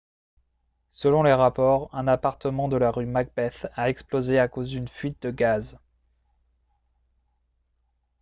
selon les rapports un appartement de la rue macbeth a explosé à cause d'une fuite de gaz